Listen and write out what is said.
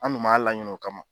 An dun m'a laɲini o kama